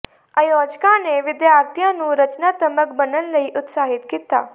ਆਯੋਜਕਾਂ ਨੇ ਵਿਦਿਆਰਥੀਆਂ ਨੂੰ ਰਚਨਾਤਮਕ ਬਣਨ ਲਈ ਉਤਸ਼ਾਹਿਤ ਕੀਤਾ